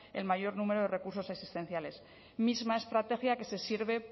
el mayor número recursos asistenciales misma estrategia que se sirve